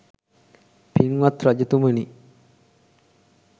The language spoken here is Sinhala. පින්වත් රජතුමනි,